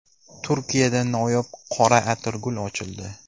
Turkiyada noyob qora atirgul ochildi .